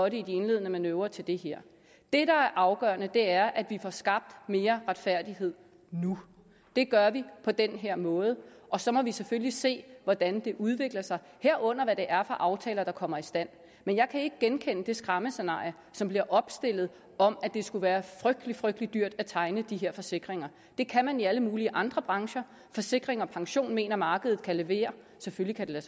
i de indledende manøvrer til det her det der er afgørende er at vi får skabt mere retfærdighed nu det gør vi på den her måde og så må vi selvfølgelig se hvordan det udvikler sig herunder hvad det er for aftaler der kommer i stand men jeg kan ikke genkende det skræmmescenarie som bliver opstillet om at det skulle være frygtelig frygtelig dyrt at tegne de her forsikringer det kan man i alle mulige andre brancher forsikring pension mener at markedet kan levere selvfølgelig